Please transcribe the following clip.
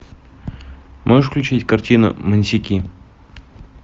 можешь включить картину монсики